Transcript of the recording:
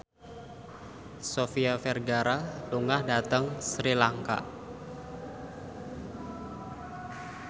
Sofia Vergara lunga dhateng Sri Lanka